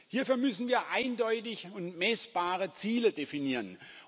Hierfür müssen wir eindeutige und messbare Ziele definieren.